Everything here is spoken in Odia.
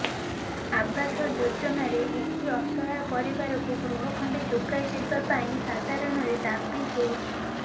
ଆବାସ ଯୋଜନାରେ ଏହି ଅସହାୟ ପରିବାରକୁ ଗୃହ ଖଣ୍ଡେ ଯୋଗାଇ ଦେବାପାଇଁ ସାଧାରଣରେ ଦାବି ହେଉଛି